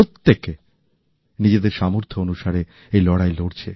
প্রত্যেকে নিজেদের সামর্থ্য অনুসারে এই লড়াই লড়ছেন